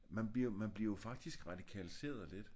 Man bliver jo man bliver jo faktisk radikaliseret lidt